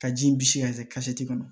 Ka ji in bisi ka kɛ kɔnɔ